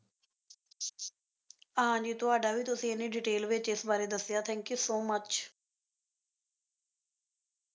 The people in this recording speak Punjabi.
ਹਾਂ ਜੀ ਤੁਹਾਡਾ ਵੀ ਤੁਸੀਂ ਐਨੀ detail ਵਿੱਚ ਇਸ ਬਾਰੇ ਦੱਸੀ thank you so much